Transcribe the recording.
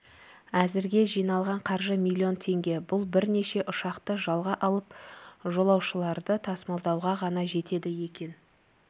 әзірге жиналған қаржы миллион теңге бұл бірнеше ұшақты жалға алып жолаушыларды тасымалдауға ғана жетеді екен